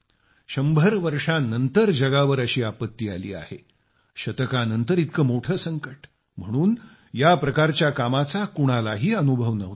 शंभर वर्षांनंतर जगावर अशी आपत्ती आली आहे शतकानंतर इतके मोठे संकट म्हणून या प्रकारच्या कामाचा कोणालाही अनुभव नव्हता